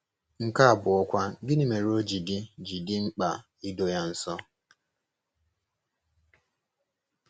Nke abụọkwa, gịnị mere o ji dị ji dị mkpa ị doo ya nsọ?